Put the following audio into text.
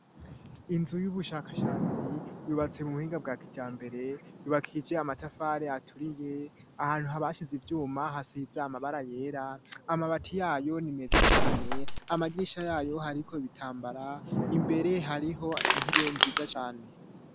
inzu y'ubushakashatsi yubatse mu buhinga bwakijambere yubakije amatafare aturiye ahantu haba hashize ivyuma hasiza amabara yera amabati yayo ni meza cane amagirisha yayo hariko ibitambara imbere hariho intebe nziza cane